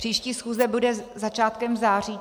Příští schůze bude začátkem září.